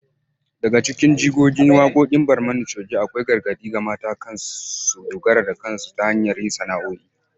Daga cikin jigogin waqoqin Barmani coge akwai gargadi ga mata kan su dogara da kansu ta hanyar yin sana’’o’i